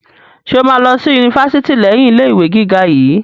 Ṣe o ma lọ sí yunifásítì leyin ilé ìwé gíga yìí?